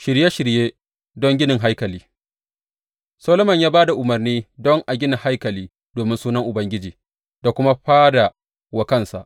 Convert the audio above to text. Shirye shirye don ginin haikali Solomon ya ba da umarni don a gina haikali domin sunan Ubangiji da kuma fada wa kansa.